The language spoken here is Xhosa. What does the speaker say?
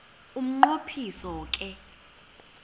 umnqo phiso ke